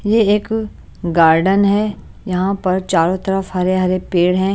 ये एक गार्डेन है यहाँ पर चारों तरफ हरे-हरे पेड़ हैं।